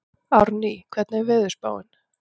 Árný, hvernig er veðurspáin?